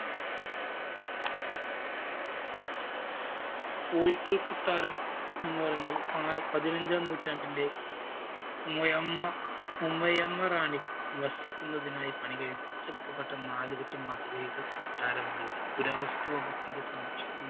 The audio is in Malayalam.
കോഴിക്കല്‍ കൊട്ടാരം എന്നുപറഞ്ഞാല്‍ പാ~പതിനഞ്ചാം നൂറ്റാണ്ടിലെ മൊയമ്മ ഉമയമ്മ റാണി വസിക്കുന്നതിനായി പണി കഴിപ്പിച്ച് പെട്ട നാലുകെട്ട് മാതൃകയില് കൊട്ടാരമാണിത്. പുരാവസ്തു വകുപ്പിന്റെ സംരക്ഷണ